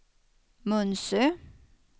Munsö